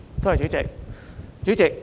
多謝主席。